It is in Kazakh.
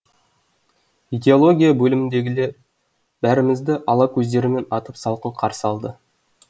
идеология бөліміндегілер бәрімізді ала көздерімен атып салқын қарсы алды